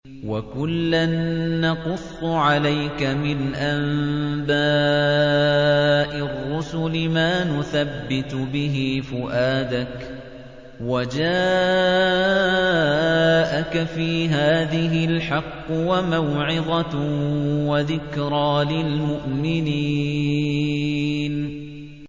وَكُلًّا نَّقُصُّ عَلَيْكَ مِنْ أَنبَاءِ الرُّسُلِ مَا نُثَبِّتُ بِهِ فُؤَادَكَ ۚ وَجَاءَكَ فِي هَٰذِهِ الْحَقُّ وَمَوْعِظَةٌ وَذِكْرَىٰ لِلْمُؤْمِنِينَ